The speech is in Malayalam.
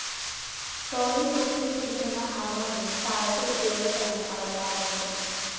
തോളില്‍ തൂക്കിയിട്ടിരിക്കുന്ന ഹാർമോണിയം താളത്തില്‍ ഉപയോഗിച്ചാണ് അവള്‍ പാടുന്നത്